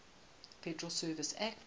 federal reserve act